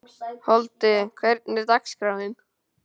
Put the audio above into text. Holti, hvernig er dagskráin?